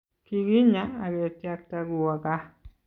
kikinya aketyakta kuwo gaa